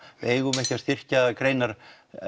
við eigum ekki að styrkja greinar